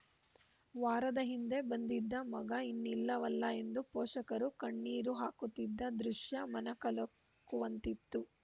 ವಾರದ ಹಿಂದೆ ಬಂದಿದ್ದ ಮಗ ಇನ್ನಿಲ್ಲವಲ್ಲ ಎಂದು ಪೋಷಕರು ಕಣ್ಣೀರು ಹಾಕುತ್ತಿದ್ದ ದೃಶ್ಯ ಮನಕಲಕುವಂತಿತ್ತು